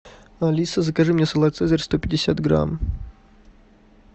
алиса закажи мне салат цезарь сто пятьдесят грамм